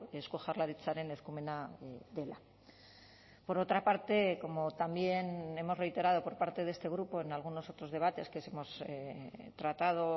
eusko jaurlaritzaren eskumena dela por otra parte como también hemos reiterado por parte de este grupo en algunos otros debates que hemos tratado